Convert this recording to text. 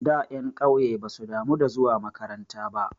Da ƴan ƙauye basu damu da zuwa makaranta ba.